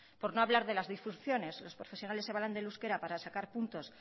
por no hablar de las disfunciones los profesionales se valen del euskera para sacar puntos